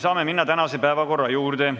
Saame minna tänase päevakorra juurde.